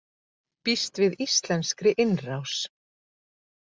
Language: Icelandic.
Býst við íslenskri innrás